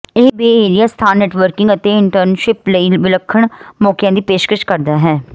ਇਹ Bay Area ਸਥਾਨ networking ਅਤੇ ਇੰਟਰਨਸ਼ਿਪ ਲਈ ਵਿਲੱਖਣ ਮੌਕਿਆਂ ਦੀ ਪੇਸ਼ਕਸ਼ ਕਰਦਾ ਹੈ